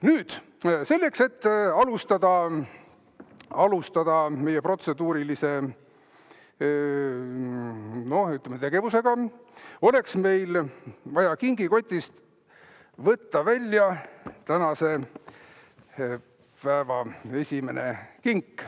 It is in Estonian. Nüüd, selleks, et alustada meie protseduurilise, ütleme, tegevusega, oleks meil vaja kingikotist võtta välja tänase päeva esimene kink.